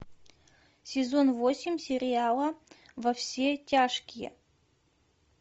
сезон восемь сериала во все тяжкие